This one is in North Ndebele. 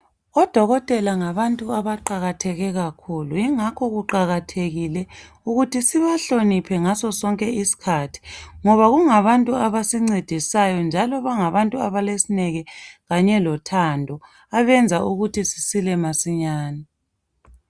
Odokotela ngabantu abaqakatheke kakhulu ingakho kuqakathekile ukuthi sibahloniphe ngaso sonke isikhathi ngoba ngabantu abasincedisayo ngaso sonke isikhathi njalo bangabantu abalesineke kanye lothando abenza ukuthi sisile masinyane.